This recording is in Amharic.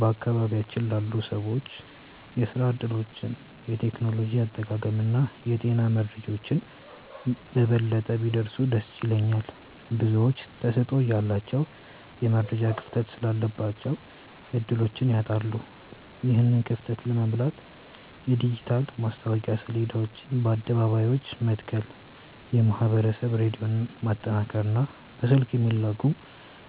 በአካባቢያችን ላሉ ሰዎች የሥራ ዕድሎች፣ የቴክኖሎጂ አጠቃቀምና የጤና መረጃዎች በበለጠ ቢደርሱ ደስ ይለኛል። ብዙዎች ተሰጥኦ እያላቸው የመረጃ ክፍተት ስላለባቸው ዕድሎችን ያጣሉ። ይህንን ክፍተት ለመሙላት የዲጂታል ማስታወቂያ ሰሌዳዎችን በአደባባዮች መትከል፣ የማኅበረሰብ ሬዲዮን ማጠናከርና በስልክ የሚላኩ